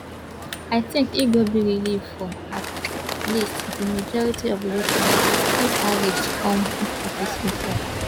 i tink e go be relief for at least di majority of europeans if harris come into office e tok